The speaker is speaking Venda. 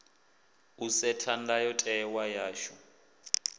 u setha ndayo tewa yashu